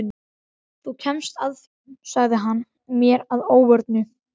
Þú kemst að því sagði hann mér að óvörum.